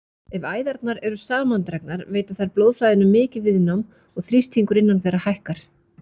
Ef æðarnar eru samandregnar veita þær blóðflæðinu mikið viðnám og þrýstingur innan þeirra hækkar.